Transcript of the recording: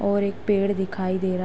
और एक पेड़ दिखाई दे रहा --